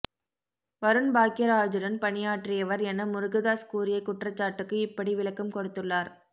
வருண் பாக்யராஜுடன் பணியாற்றியவர் என முருகதாஸ் கூறிய குற்றச்சாட்டுக்கு இப்படி விளக்கம் கொடுத்துள்ளார்